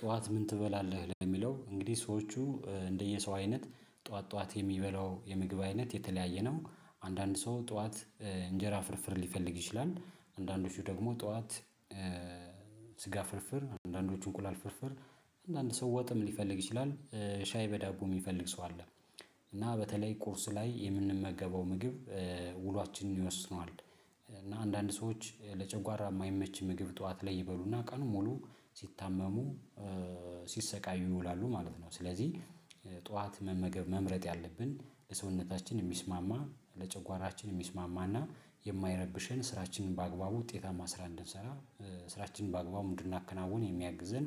ጠዋት ምን ትበላለህ የሚለው? እንግዲህ ሰዎቹ እንደየሰው አይነት ጠዋት ጠዋት የሚበላው የምግብ አይነት የተለያየ ነው። አንዳንድ ሰው ጠዋት እንጀራ ፍርፍር ሊፈልግ ይችላል አንዳንዶቹ ደግሞ ጠዋት ስጋ ፍርፍር አንዳንዶቹ እንቁላል ፍርፍር አንዳንድ ሰው ወጥም ሊፈልግ ይችላል ሻይ በዳቦ የሚፈልግ ሰው አለ። እና በተለይ ቁርስ ላይ የምንመገበው ምግብ ውሏችንን ይወስነዋል። እና አንዳንድ ሰዎች ለጨጓራ የማይመች ምግብ ጠዋት ላይ ይበሉና ቀኑን ሙሉ ሲታመሙ ሲሰቃዩ ይውላሉ ማለት ነው። ስለዚህ ጠዋት መመገብ መምረጥ ያለብን ለሰውነታችን የሚስማማ ለጨጓራችን የሚስማማና የማይረብሸን ስራችንን በአግባቡ ውጤታማ ስራ እንድንሰራ። ስራችንን በአግባቡ ምን እንድናከናውን የሚያግዘን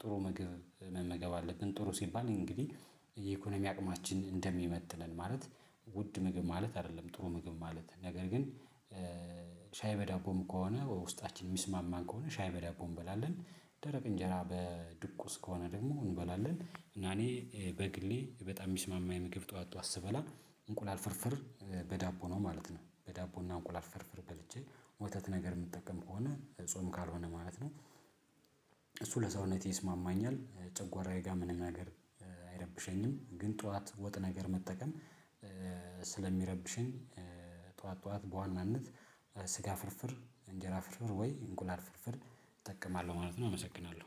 ጥሩ መግብ መመገብ አለብን። ጥሩ ሲባል እንግዲህ የኢኮኖሚ አቅማችን እንደሚመጥነን ማለት ውድ ምግብ ማለት አይደለም ጥሩ ምግብ ማለት ነገር ግን። ሻይ በዳቦም ከሆነ ውስጣችን የሚስማማን ከሆነ ሻይ በዳቦ እንበላለን። ደረቅ እንጀራ በድቁስ ከሆነ ደግሞ እንበላለን እና እኔ በግሌ በጣም የሚስማማኝ የምግብ ጠዋት ጠዋት ስበላ እንቁላል ፍርፍር በዳቦ ነው ማለት ነው። በዳቦና እንቁላል ፍርፍር በልቼ ወተት ነገር የምጠቀም ከሆነ ጾም ካልሆነ ማለት ነው። እሱ ለሰውነቴ ይስማማኛል ጨጓራዬ ጋር ምንም ነገር አይረብሸኝም። ግን ጠዋት ወጥ ነገር መጠቀም ስለሚረብሸኝ። ጠዋት ጠዋት በዋናነት ስጋ ፍርፍር እንጀራ ፍርፍር ወይ እንቁላል ፍርፍር እጠቀማለሁ ማለት ነው። አመሰግናለሁ